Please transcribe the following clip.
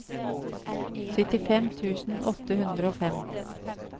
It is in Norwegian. syttifem tusen åtte hundre og fem